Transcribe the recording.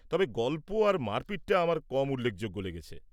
তবে, গল্প আর মারপিটটা আমার কম উল্লেখযোগ্য লেগেছে।